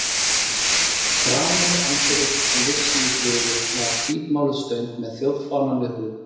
Framan við anddyrið, sem vissi í suður, var hvítmáluð stöng með þjóðfánann við hún.